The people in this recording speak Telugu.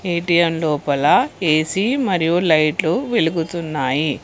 ఏ_టీ_ఎం లోపల ఏ_సి మరియు లైట్లు వెలుగుతున్నాయి.